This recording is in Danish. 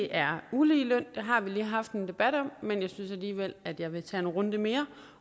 er uligeløn det har vi lige haft en debat om men jeg synes alligevel at jeg vil tage en runde mere